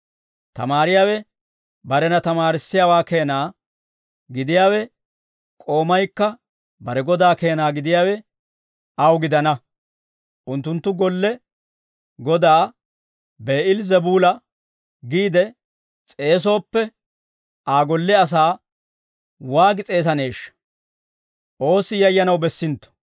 Tamaariyaawe barena tamaarissiyaawaa keena gidiyaawe, k'oomaykka bare godaa keena gidiyaawe aw gidana; unttunttu golle godaa Bi'eel-Zebuula giide s'eesooppe, Aa golle asaa waagi s'eesaneeshsha!